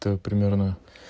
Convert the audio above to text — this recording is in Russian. так примерно